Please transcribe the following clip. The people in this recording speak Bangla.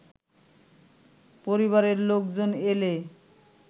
পরিবারের লোকজন এলে